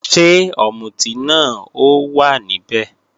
Ṣé ọ̀mùtí náà ó wà níbẹ̀?